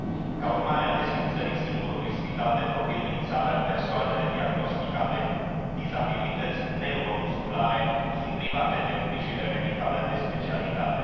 Ca urmare a desfințării singurului spital de profil din țară, persoanele diagnosticate cu dizabilități neuromusculare sunt private de îngrijire medicală de specialitate.